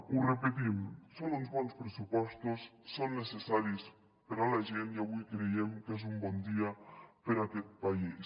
ho repetim són uns bons pressupostos són necessaris per a la gent i avui creiem que és un bon dia per a aquest país